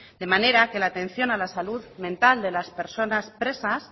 de manera que la atención a la salud mental de las personas presas